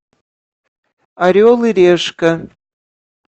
орел и решка